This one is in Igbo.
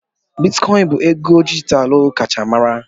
Bitikoin bụ ego dijitalụ kacha mara.